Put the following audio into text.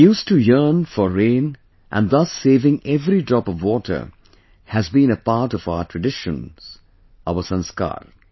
We used to yearn for rain and thus saving every drop of water has been a part of our traditions, our sanskar